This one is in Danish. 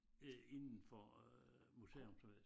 Øh inden for øh museumsvæsen